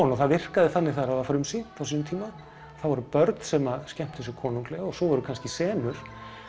og það virkaði þannig þegar það var frumsýnt á sínum tíma þá voru börn sem skemmtu sér konunglega og svo voru kannski senur